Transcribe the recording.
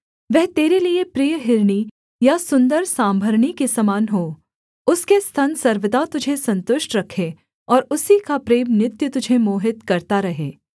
वह तेरे लिए प्रिय हिरनी या सुन्दर सांभरनी के समान हो उसके स्तन सर्वदा तुझे सन्तुष्ट रखें और उसी का प्रेम नित्य तुझे मोहित करता रहे